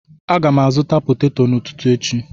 Aga m azụta potato n'ụtụtụ echi